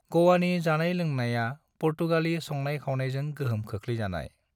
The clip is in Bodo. गोवानि जानाय-लोंनायआ पुर्तगाली संनाय-खावनायजों गोहोम खोख्लैजानाय।